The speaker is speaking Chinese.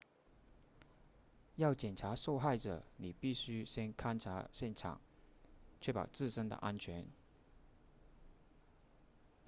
要检查受害者你必须先勘察现场确保自身的安全